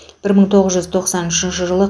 бір мың тоғыз жүз тоқсан үшінші жылы